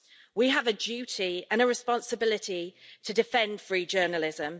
We have a duty and a responsibility to defend free journalism.